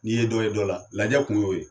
N'i ye dɔ ye dɔ la lajɛ kun y'o ye